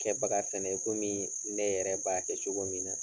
Kɛ baga fɛnɛ i komii ne yɛrɛ b'a kɛ cogo min na